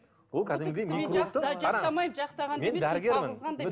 ол кәдімгідей мен дәрігермін